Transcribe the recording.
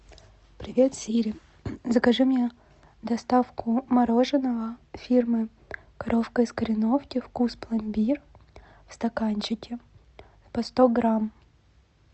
привет сири закажи мне доставку мороженого фирмы коровка из кореновки вкус пломбир в стаканчике по сто грамм